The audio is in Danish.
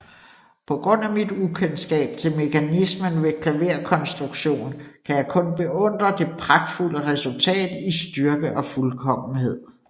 På grund af mit ukendskab til mekanismen ved klaverkonstruktion kan jeg kun beundre det pragtfulde resultat i styrke og fuldkommenhed